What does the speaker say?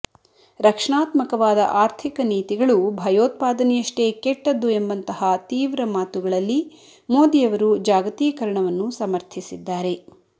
ರಕ್ಷಣಾತ್ಮಕವಾದ ಆರ್ಥಿಕ ನೀತಿಗಳು ಭಯೋತ್ಪಾದನೆಯಷ್ಟೇ ಕೆಟ್ಟದ್ದು ಎಂಬಂತಹ ತೀವ್ರ ಮಾತುಗಳಲ್ಲಿ ಮೋದಿಯವರು ಜಾಗತೀಕರಣವನ್ನು ಸಮರ್ಥಿಸಿದ್ದಾರೆ